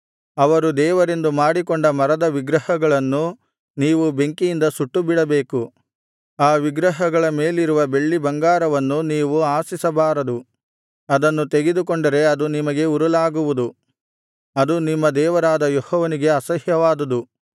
ಅವರು ದೇವರೆಂದು ಮಾಡಿಕೊಂಡ ಮರದ ವಿಗ್ರಹಗಳನ್ನು ನೀವು ಬೆಂಕಿಯಿಂದ ಸುಟ್ಟುಬಿಡಬೇಕು ಆ ವಿಗ್ರಹಗಳ ಮೇಲಿರುವ ಬೆಳ್ಳಿಬಂಗಾರವನ್ನು ನೀವು ಆಶಿಸಬಾರದು ಅದನ್ನು ತೆಗೆದುಕೊಂಡರೆ ಅದು ನಿಮಗೆ ಉರುಲಾಗುವುದು ಅದು ನಿಮ್ಮ ದೇವರಾದ ಯೆಹೋವನಿಗೆ ಅಸಹ್ಯವಾದುದು